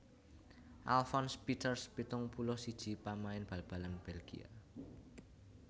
Alfons Peeters pitung puluh siji pamain bal balan Bèlgia